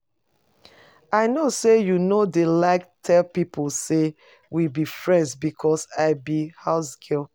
I no say you no dey like tell people say we be friends because I be housegirl